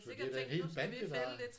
Så det er da en hel bande der